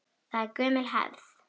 Það er gömul hefð.